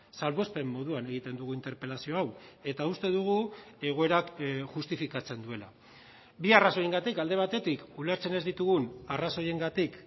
salbuespen moduan egiten dugu interpelazio hau eta uste dugu egoerak justifikatzen duela bi arrazoiengatik alde batetik ulertzen ez ditugun arrazoiengatik